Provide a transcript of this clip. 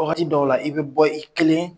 Wagati dɔw la i bɛ bɔ i kelen.